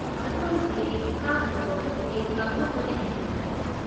ꯑꯗꯣꯏꯗꯤ ꯀꯥꯞꯇꯕꯕꯨꯗꯤ ꯀꯥꯞꯊꯣꯛꯄꯅ ꯍꯦꯟꯅ ꯐꯔꯦ꯫